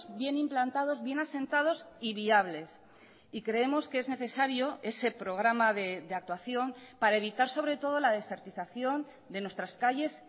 bien implantados bien asentados y viables y creemos que es necesario ese programa de actuación para evitar sobre todo la desertización de nuestras calles